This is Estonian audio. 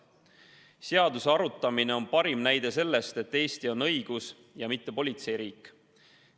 Selle seaduseelnõu arutamine on parim näide selle kohta, et Eesti on õigus-, mitte politseiriik.